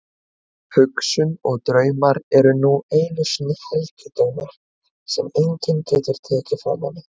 Hugsun og draumar eru nú einu sinni helgidómar sem enginn getur tekið frá manni.